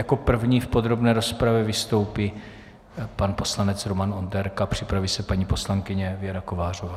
Jako první v podrobné rozpravě vystoupí pak poslanec Roman Onderka, připraví se paní poslankyně Věra Kovářová.